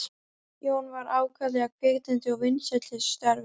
Jón var ákaflega hvetjandi og vinsæll í þessu starfi.